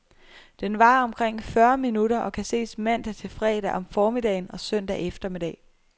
Den varer omkring fyrre minutter og kan ses mandag til fredag om formiddagen og søndag eftermiddag.